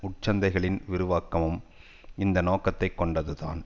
உட்சந்தைகளின் விரிவாக்கமும் இந்த நோக்கத்தை கொண்டது தான்